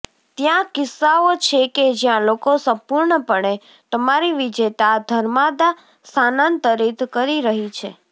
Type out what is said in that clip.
ત્યાં કિસ્સાઓ છે કે જ્યાં લોકો સંપૂર્ણપણે તમારી વિજેતા ધર્માદા સ્થાનાંતરિત કરી રહી છે